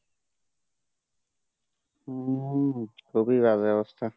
হম খুবই বাজে অবস্থা